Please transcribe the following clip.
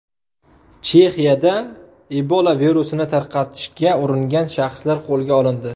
Chexiyada Ebola virusini tarqatishga uringan shaxslar qo‘lga olindi.